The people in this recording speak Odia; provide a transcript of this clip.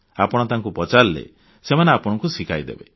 ଆପଣ ତାଙ୍କୁ ପଚାରିଲେ ସେମାନେ ଆପଣଙ୍କୁ ଶିଖାଇଦେବେ